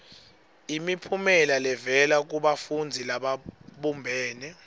imiphumela levela kubafundzi lababumbene